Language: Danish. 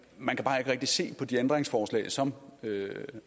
man kan bare ikke rigtig se på de ændringsforslag som